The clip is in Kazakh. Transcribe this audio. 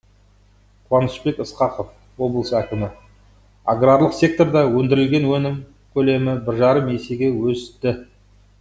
қуанышбек ысқақов облыс әкімі аграрлық секторда өндірілген өнім көлемі бір жарым есеге өсті